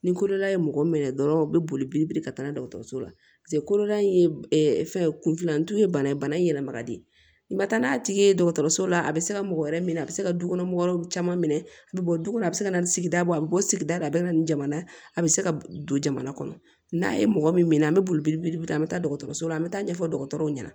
Ni koloda ye mɔgɔ min minɛ dɔrɔn u bɛ boli biri ka taa dɔgɔtɔrɔso la paseke koloda in ye fɛn ye kunfilanu ye bana ye bana in yɛlɛma ka di i ma n'a tigi ye dɔgɔtɔrɔso la a bɛ se ka mɔgɔ wɛrɛ minɛ a bɛ se ka dukɔnɔ mɔgɔ wɛrɛw caman minɛ a bɛ bɔ du kɔnɔ a bɛ se ka na ni sigida bɔ a bɛ bɔ sigida a bɛ na ni jamana a bɛ se ka don jamana kɔnɔ n'a ye mɔgɔ min minɛ an bɛ boli an bɛ taa dɔgɔtɔrɔso la an bɛ taa ɲɛfɔ dɔgɔtɔrɔw ɲɛna